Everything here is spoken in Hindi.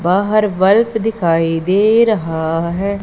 बाहर बल्फ दिखाई दे रहा है।